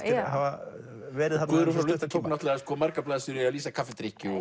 hafa verið þarna Guðrún frá Lundi tók náttúrulega margar blaðsíður í að lýsa kaffidrykkju og